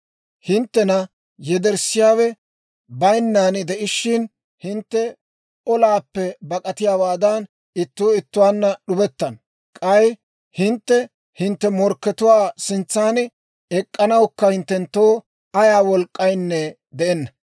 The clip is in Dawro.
Hinttena yederssiyaawe bayinnan de'ishshin, hintte olaappe bak'atiyaawaadan ittuu ittuwaanna d'ubettana; k'ay hintte hintte morkkatuwaa sintsan ek'k'anawukka hinttenttoo ayaa wolk'k'inne de'enna.